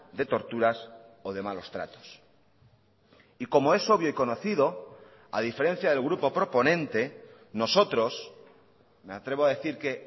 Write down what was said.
de torturas o de malos tratos y como es obvio y conocido a diferencia del grupo proponente nosotros me atrevo a decir que